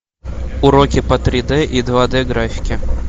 уроки по три д и два д графике